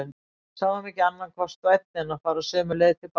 Sáum ekki annan kost vænni en fara sömu leið til baka.